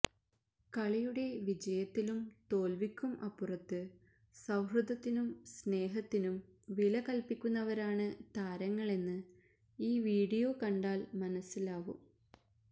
കളിയുടെ വിജയത്തിലും തോല്വിക്കും അപ്പുറത്ത് സൌഹൃദത്തിനും സ്നേഹത്തിനും വില കല്പ്പിക്കുന്നവരാണ് താരങ്ങളെന്ന് ഈ വീഡിയോ കണ്ടാല് മനസ്സിലാവും